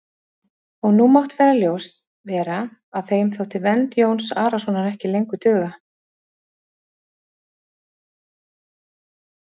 Og nú mátti ljóst vera að þeim þótti vernd Jóns Arasonar ekki lengur duga.